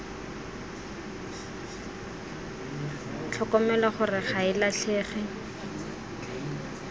tlhokomelwa gore ga e latlhege